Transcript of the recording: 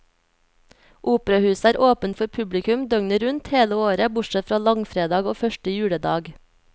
Operahuset er åpent for publikum døgnet rundt hele året bortsett fra langfredag og første juledag.